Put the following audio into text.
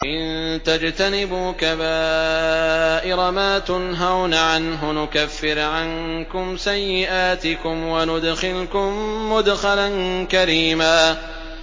إِن تَجْتَنِبُوا كَبَائِرَ مَا تُنْهَوْنَ عَنْهُ نُكَفِّرْ عَنكُمْ سَيِّئَاتِكُمْ وَنُدْخِلْكُم مُّدْخَلًا كَرِيمًا